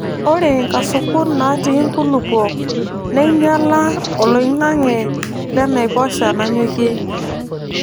Ore nkasukun naatii nkulupuok neinyala oloing'ang'e le naiposha nanyokie.